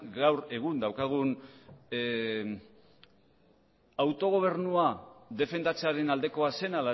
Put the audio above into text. gaur egun daukagun autogobernua defendatzearen aldekoa zen